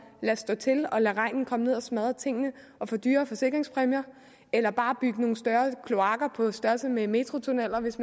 lade stå til og lade regnen komme ned og smadre tingene og få dyre forsikringspræmier eller bare bygge nogle større kloakker på størrelse med metrotunneller hvis